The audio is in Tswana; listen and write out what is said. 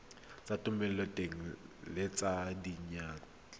tsa thomeloteng le tsa diyantle